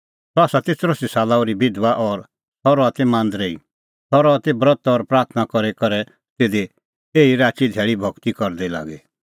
सह ती चरैसी साला ओर्ही बिधबा और सह रहा ती मांदरै ई सह रहा ती ब्रत और प्राथणां करी करै तिधी एछी राची धैल़ी भगती करदी लागी